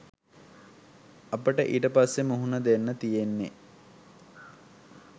අපට ඊට පස්සේ මුහුණ දෙන්න තියෙන්නේ